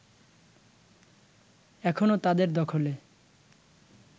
এখনও তাদের দখলে